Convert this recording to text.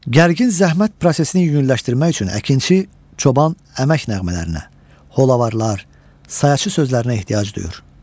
Gərgin zəhmət prosesini yüngülləşdirmək üçün əkinçi, çoban əmək nəğmələrinə, holavarlar, sayacı sözlərinə ehtiyac duyur.